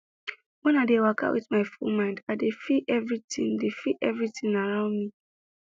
when i dey waka with my full mind i dey feel everitin dey feel everitin around me